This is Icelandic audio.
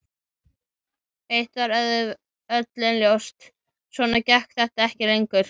Eitt var öllum ljóst: Svona gekk þetta ekki lengur.